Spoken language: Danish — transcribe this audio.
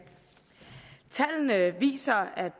tallene viser at